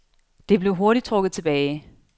Det blev hurtigt trukket tilbage.